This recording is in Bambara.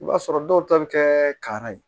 I b'a sɔrɔ dɔw ta bɛ kɛ ka ye